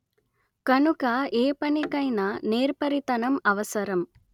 కనుక ఏపనికైనా నేర్పరితనం అవసరం